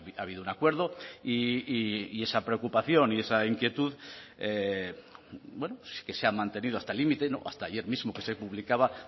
ha habido un acuerdo y esa preocupación y esa inquietud bueno que se ha mantenido hasta el límite hasta ayer mismo que se publicaba